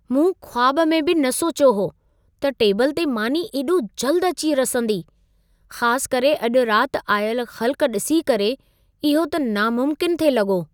मूं ख़्वाब में बि न सोचियो हो, त टेबल ते मानी एॾो जल्द अची रसंदी। ख़ास करे अॼु राति आयल ख़ल्क़ ॾिसी करे इहो त नामुमकिनु थे लॻो।